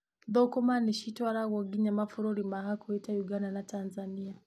Thũkũma nĩcitwaragwo nginya mabũrũri ma hakuhĩ ta Ũganda na Tanzania.